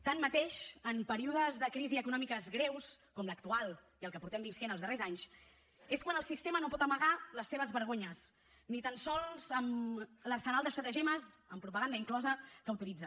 tanmateix en períodes de crisis econòmiques greus com l’actual i el que estem vivint els darrers anys és quan el sistema no pot amagar les seves vergonyes ni tan sols amb l’arsenal d’estratagemes amb propaganda inclosa que utilitza